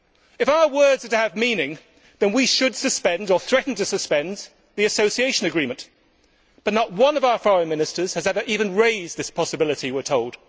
If our words are to have meaning, then we should suspend or threaten to suspend the association agreement, but not one of our foreign ministers has ever even raised that possibility, we are told.